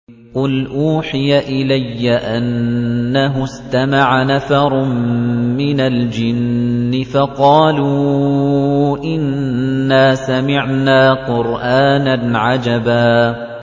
قُلْ أُوحِيَ إِلَيَّ أَنَّهُ اسْتَمَعَ نَفَرٌ مِّنَ الْجِنِّ فَقَالُوا إِنَّا سَمِعْنَا قُرْآنًا عَجَبًا